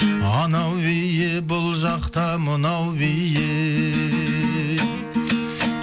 анау биі бұл жақта мынау биі